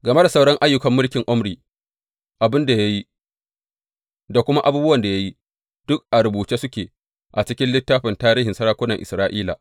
Game da sauran ayyukan mulkin Omri, abin da ya yi, da kuma abubuwan da ya yi, duk a rubuce suke a cikin littafin tarihin sarakunan Isra’ila.